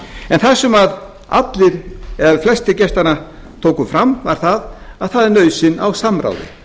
en það sem allir eða flestir gestanna tóku fram var það að það er nauðsyn á samráði